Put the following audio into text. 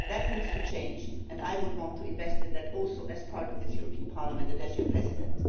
That needs to change, and I would want to invest in that as part of this European Parliament and as your President.